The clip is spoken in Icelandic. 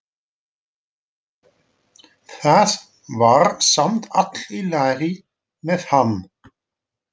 Það var samt allt í lagi með hann.